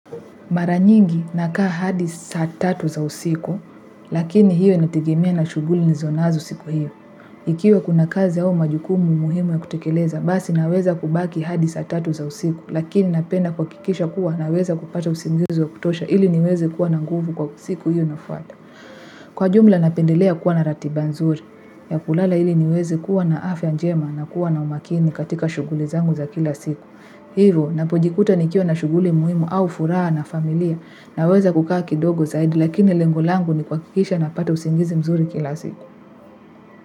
Mara nyingi nakaa hadi saa tatu za usiku, Lakini hiyo inatengemea na shuguli nilizonazo siku hiyo. Ikiwa kuna kazi au majukumu muhimu ya kutekeleza, basi naweza kubaki hadi sa tatu za usiku, Lakini napenda kwa kuhakikisha kuwa naweza kupata usingizi wa kutosha ili niweze kuwa na nguvu kwa siku hiyo inafwata. Kwa jumla napendelea kuwa na ratiba nzuri, ya kulala ili niweze kuwa na afya njema na kuwa na umakini katika shuguli zangu za kila siku. Ninapojikuta nikiwa na shuguli muhimu au furaha na familia, naweza kukaa kidogo zaidi lakini lengo langu ni kuhakikisha napata usingizi mzuri kila siku.